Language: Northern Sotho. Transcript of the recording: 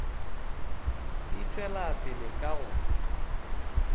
e tšwela pele ka go